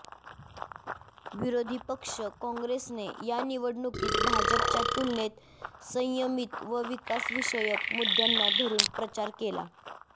विरोधी पक्ष काँग्रेसने या निवडणुकीत भाजपच्या तुलनेत संयमित व विकास विषयक मुद्यांना धरून प्रचार केला